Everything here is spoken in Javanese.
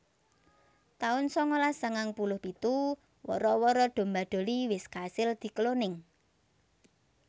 taun sangalas sangang puluh pitu Wara wara domba Dolly wis kasil dikloning